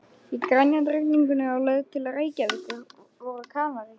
Í grenjandi rigningunni á leið til Reykjavíkur voru Kanarí